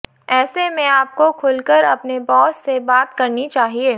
ऐसे में आपको खुलकर अपने बॉस से बात करनी चाहिए